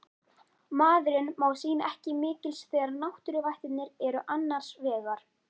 Maðurinn má sín ekki mikils þegar náttúruvættirnar eru annars vegar